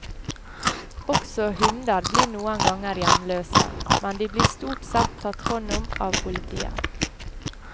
Også hunder blir noen ganger hjemløse, men de blir stort sett tatt hånd om av politiet.